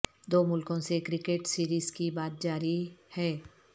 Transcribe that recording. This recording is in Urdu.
دو ملکوں سے کرکٹ سیریز کی بات جاری ہے